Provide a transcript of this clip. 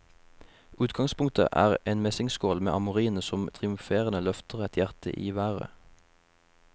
Utgangspunktet er en messingskål med amorin, som triumferende løfter et hjerte i været.